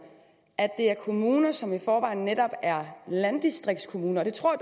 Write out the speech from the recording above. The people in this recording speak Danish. at det er kommuner som i forvejen netop er landdistriktskommuner og det tror